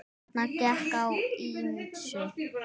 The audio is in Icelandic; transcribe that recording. Þarna gekk á ýmsu.